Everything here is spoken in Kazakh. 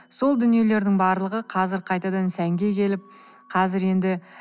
сол дүниелердің барлығы қазір қайтадан сәнге келіп қазір енді